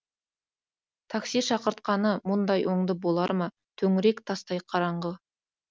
такси шақыртқаны мұндай оңды болар ма төңірек тастай қараңғы